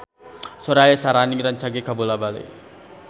Sora Syaharani rancage kabula-bale